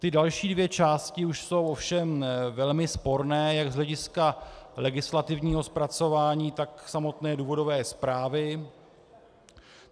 Ty další dvě části už jsou ovšem velmi sporné jak z hlediska legislativního zpracování, tak samotné důvodové zprávy.